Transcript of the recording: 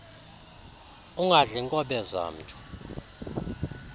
ungadli nkobe zamntu